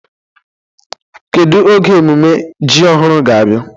Kedu oge emume ji ọhụrụ ga-abịa?